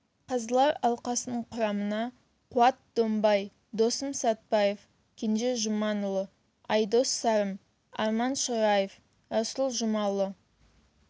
қазылар алқасының құрамына қуат домбай досым сатпаев кенже жұманұлы айдос сарым арман шораев расул жұмалы